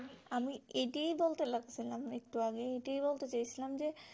আমি এটাই বলতে লাগছিলাম একটু আগে এটাই বলতে চেয়েছিলাম যে